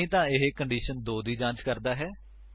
ਨਹੀਂ ਤਾਂ ਇਹ ਕੰਡੀਸ਼ਨ2 ਲਈ ਜਾਂਚ ਕਰਦਾ ਹੈ